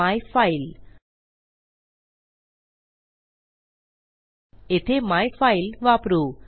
my file येथे my file वापरू